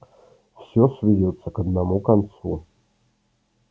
все сведётся к одному концу